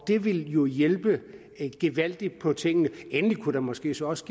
det ville jo hjælpe gevaldigt på tingene endelig kunne der måske så også